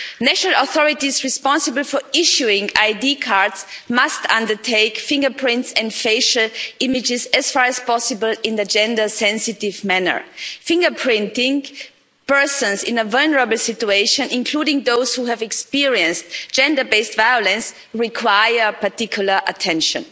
National authorities responsible for issuing ID cards must undertake fingerprints and facial images, as far as possible, in a gender-sensitive manner. Fingerprinting persons in a vulnerable situation, including those who have experienced gender based violence, requires particular attention.